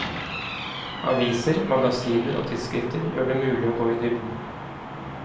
Aviser, magasiner og tidsskrifter gjør det mulig å gå i dybden.